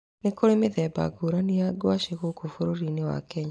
Nĩ kũrĩ mĩthemba ngũrani ya ngwacĩ gũkũ bũrũri-inĩ wa Kenya.